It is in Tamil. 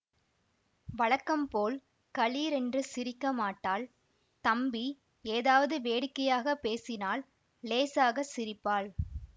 வழக்கம் போல் கலீரென்று சிரிக்க மாட்டாள் தம்பி ஏதாவது வேடிக்கையாக பேசினால் இலேசாக சிரிப்பாள்